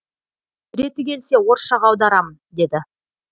реті келсе орысшаға аударамын деді